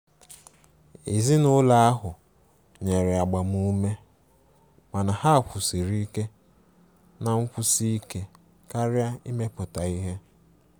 Ezinụlọ ahụ nyere agbamume mana ha kwusiri ike na nkwusi ike karia imepụta ihe.